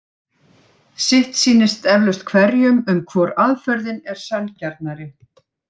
Sitt sýnist eflaust hverjum um hvor aðferðin er sanngjarnari.